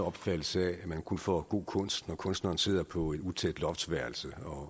opfattelse af at man kun får god kunst når kunstneren sidder på et utæt loftsværelse og